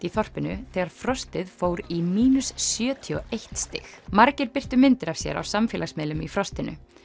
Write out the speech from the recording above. í þorpinu þegar frostið fór í sjötíu og eitt stig margir birtu myndir af sér á samfélagsmiðlum í frostinu